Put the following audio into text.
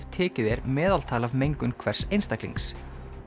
tekið er meðaltal af mengun hvers einstaklings